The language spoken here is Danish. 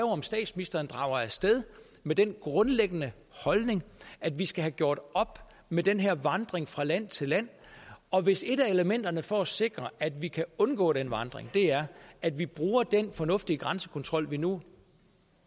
om statsministeren drager af sted med den grundlæggende holdning at vi skal have gjort op med den her vandring fra land til land og hvis et af elementerne for at sikre at vi kan undgå den vandring er at vi bruger den fornuftige grænsekontrol vi nu